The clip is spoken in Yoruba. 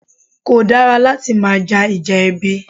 Kò dára láti máa ja Ìjà ẹbí